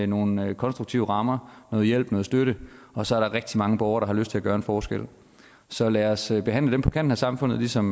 nogle nogle konstruktive rammer noget hjælp noget støtte og så er der rigtig mange borgere der har lyst til at gøre en forskel så lad os behandle dem på kanten af samfundet ligesom